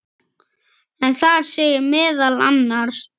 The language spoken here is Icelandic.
en þar segir meðal annars